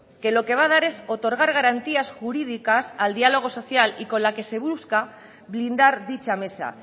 que lo que va a dar es otorgar garantías jurídicas al diálogo social y con la que se busca blindar dicha mesa